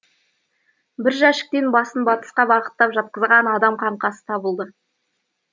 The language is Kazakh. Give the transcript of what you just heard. бір жәшіктен басын батысқа бағыттап жатқызған адам қаңқасы табылды